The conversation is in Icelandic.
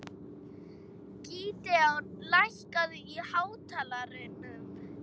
Gídeon, lækkaðu í hátalaranum.